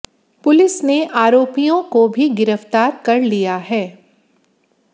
police ने आरोपियों को भी गिरफ्तार कर लिया है